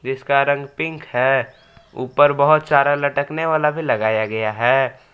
इसका रंग पिंक है ऊपर बहुत सारा लटकने वाला भी लगाया गया है।